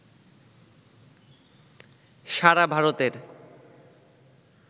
সারা ভারতের